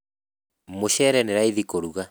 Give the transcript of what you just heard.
Mucere nĩ raithi kũruga